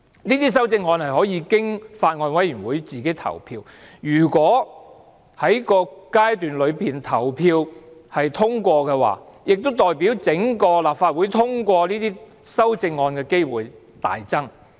這些修正案可以經法案委員會自行投票，如果投票通過，亦代表整個立法會通過這些修正案的機會大增。